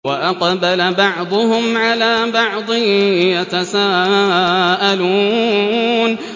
وَأَقْبَلَ بَعْضُهُمْ عَلَىٰ بَعْضٍ يَتَسَاءَلُونَ